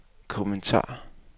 kommentar